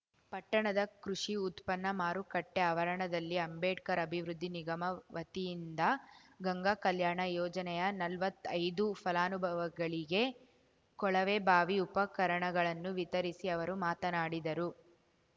ಪಟ್ಟಣದ ಕೃಷಿ ಉತ್ಪನ್ನ ಮಾರುಕಟ್ಟೆಆವರಣದಲ್ಲಿ ಅಂಬೇಡ್ಕರ್‌ ಅಭಿವೃದ್ಧಿ ನಿಗಮ ವತಿಯಿಂದ ಗಂಗಾ ಕಲ್ಯಾಣ ಯೋಜನೆಯ ನಲ್ವತ್ತೈದು ಫಲಾನುಭವಿಗಳಿಗೆ ಕೊಳವೆಬಾವಿ ಉಪಕರಣಗಳನ್ನು ವಿತರಿಸಿ ಅವರು ಮಾತನಾಡಿದರು